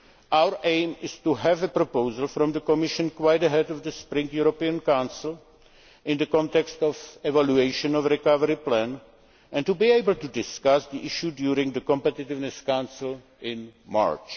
Our aim is to have a proposal from the Commission some time ahead of the Spring European Council, in the context of the evaluation of the Recovery Plan, and to be able to discuss the issue during the Competitiveness Council in March.